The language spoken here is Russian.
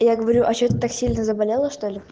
я говорю а что ты так сильно заболела что ли